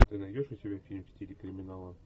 ты найдешь у себя фильм в стиле криминала